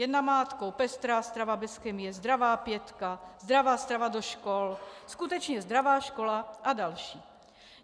Jen namátkou - Pestrá strava bez chemie, Zdravá pětka, Zdravá strava do škol, Skutečně zdravá škola a další.